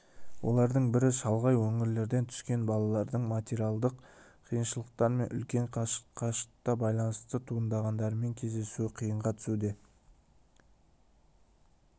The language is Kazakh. олардың бірі шалғай өңірлерден түскен балалардың материалдық қиыншылықтар мен үлкен қашықтыққа байланысты туғандарымен кездесуі қиынға түсуде